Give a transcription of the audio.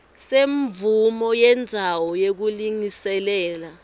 semvumo yendzawo yekulungiselela